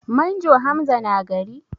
Manjo Hamza na gari?